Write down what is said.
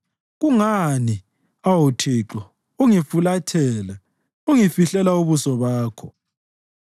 Kungani, awu Thixo, ungifulathela ungifihlela ubuso bakho?